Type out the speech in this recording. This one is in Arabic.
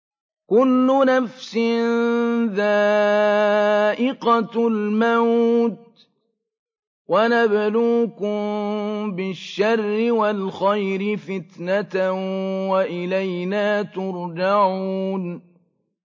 كُلُّ نَفْسٍ ذَائِقَةُ الْمَوْتِ ۗ وَنَبْلُوكُم بِالشَّرِّ وَالْخَيْرِ فِتْنَةً ۖ وَإِلَيْنَا تُرْجَعُونَ